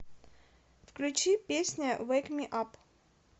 включи песня вэйк ми ап